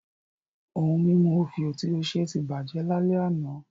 Ohun mímu òfìò tí ó ṣe ti bàjẹ́ lálẹ́ àná